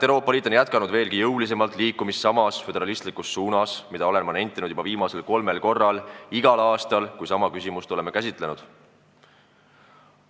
Euroopa Liit on jätkanud veelgi jõulisemalt liikumist samas föderalismi suunas, mida ma olen nentinud juba kolmel korral igal aastal, kui me sama küsimust oleme käsitlenud.